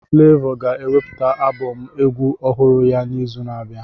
Flevọ ga-ewepụta abọm egwu ọhụrụ ya n'izu na-abịa.